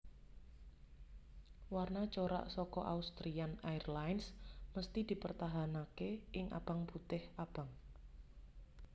Warna corak saka Austrian Airlines mesti dipertahanaké ing abang putih abang